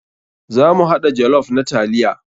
Za mu haɗa jollof na taliya.